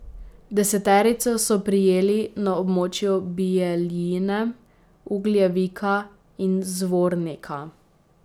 Deseterico so prijeli na območju Bijeljine, Ugljevika in Zvornika.